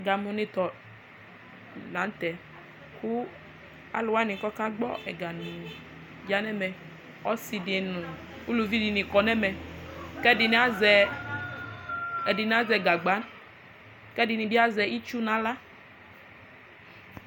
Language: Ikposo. ɛgamòni tɔ lantɛ kò alowani k'aka gbɔ ɛgami ya n'ɛmɛ ɔse di no uluvi di ni kɔ n'ɛmɛ k'ɛdini azɛ gagba k'ɛdini bi azɛ itsu n'ala